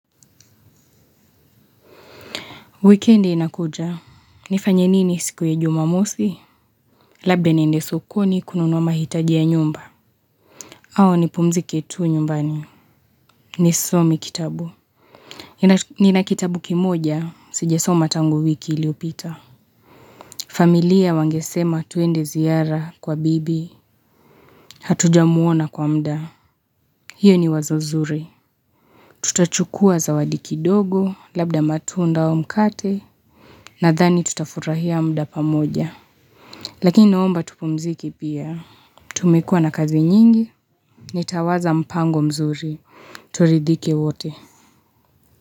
Wikende inakuja. Nifanye nini siku ya jumamosi? Labda niende sokoni kununuwa mahitaji ya nyumba. Au nipumzike tu nyumbani. Ni some kitabu. Nina kitabu kimoja, sijasoma tangu wiki iliyopita. Familia wangesema tuende ziara kwa bibi. Hatuja muona kwa muda. Hiyo ni wazo zuri. Tutachukua zawadi kidogo, labda matunda au mkate. Nadhani tutafurahia muda pamoja. Lakini naomba tupumzike pia. Tumekuwa na kazi nyingi. Nitawaza mpango mzuri. Turidhike wote.